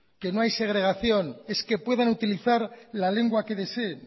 que no hay segregación es que puedan utilizar la lengua que deseen